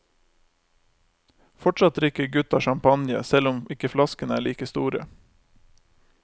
Fortsatt drikker gutta champagne, selv om ikke flaskene er like store.